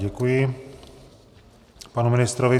Děkuji panu ministrovi.